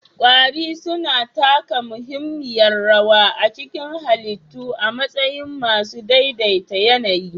Kwari suna taka muhimmiyar rawa a cikin halittu a matsayin masu daidai ta yAnayi